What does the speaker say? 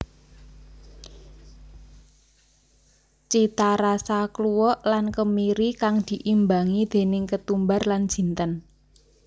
Citarasa kluwek lan kemiri kang diimbangi déning ketumbar lan jinten